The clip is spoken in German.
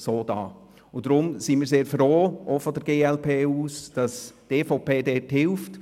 Wir sind auch seitens der glp sehr froh, dass die EVP mithilft.